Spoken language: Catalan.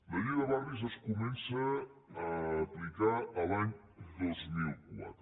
la llei de barris es comença a aplicar l’any dos mil quatre